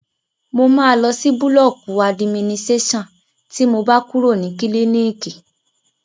Mo máa lọ sí búlọ̀kù adiminiséṣàn tí mo bá kúrò ní kílíìkì